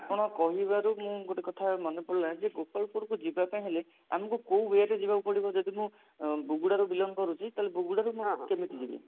ଆପଣ କହିବାରୁ ମୁଁ ଗୋଟେ କଥା ମନେପଡିଲା ଯେ ଗୋପାଳପୁରକୁ ଯିବା ପାଇଁ ହେଲେ ଆମକୁ କଉ way ରେ ଯିବାକୁ ପଡିବ ଯଦି ମୁଁ ଉଁ ବୁଗୁଡାରୁ belong କରୁଛି ତାହେଲେ ବୁଗୁଡାରୁ ମୁଁ କେମତି ଯିବି